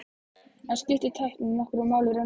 En skiptir tæknin nokkru máli í raun og veru?